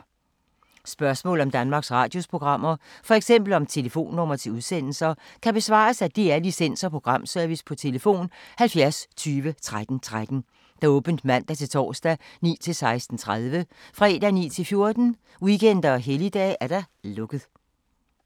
Spørgsmål om Danmarks Radios programmer, f.eks. om telefonnumre til udsendelser, kan besvares af DR Licens- og Programservice: tlf. 70 20 13 13, åbent mandag-torsdag 9.00-16.30, fredag 9.00-14.00, weekender og helligdage: lukket.